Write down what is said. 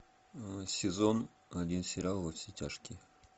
сезон один сериал во все тяжкие